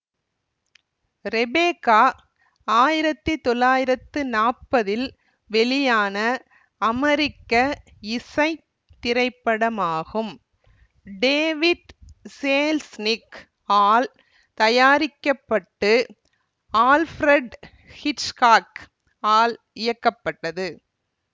Rebecca ஆயிரத்தி தொள்ளாயிரத்து நாப்பதில் வெளியான அமெரிக்க இசை திரைப்படமாகும் டேவிட் சேல்ஸ்நிக் ஆல் தயாரிக்க பட்டு ஆல்பிரட் ஹிட்ச்காக் ஆல் இயக்கப்பட்டது